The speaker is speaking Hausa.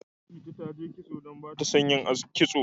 Titi ta je aski don ba ta son yin kitso.